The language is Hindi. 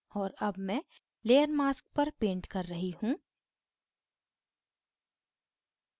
और अब मैं layer mask पर पेंट कर रही हूँ